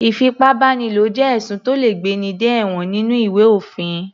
Ìfipábánilo jẹ́ ẹ̀sùn tó le gbé ní dé ẹ̀wọ̀n nínú ìwé òfin.